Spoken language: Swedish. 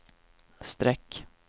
streck